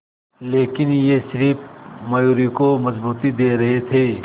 लेकिन ये सिर्फ मयूरी को मजबूती दे रहे थे